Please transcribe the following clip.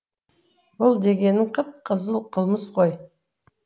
бұл дегенің қып қызыл қылмыс қой